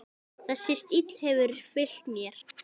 Þessi stíll hefur fylgt mér.